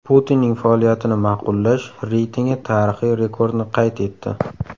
Putinning faoliyatini ma’qullash reytingi tarixiy rekordni qayd etdi.